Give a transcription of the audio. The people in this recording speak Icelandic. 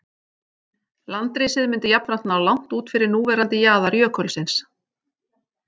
Landrisið myndi jafnframt ná langt út fyrir núverandi jaðar jökulsins.